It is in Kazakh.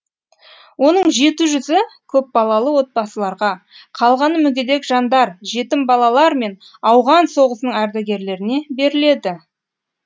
оның жеті жүзі көпбалалы отбасыларға қалғаны мүгедек жандар жетім балалар мен ауған соғысының ардагерлеріне беріледі